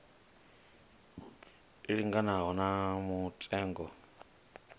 i linganaho na mutengo wa